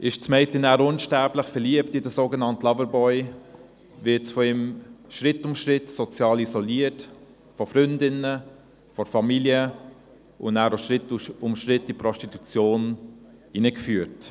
Ist das Mädchen nachher unsterblich verliebt in den sogenannten Loverboy, wird dieses von ihm Schritt für Schritt sozial isoliert, von Freundinnen, von der Familie, und Schritt für Schritt in die Prostitution hineingeführt.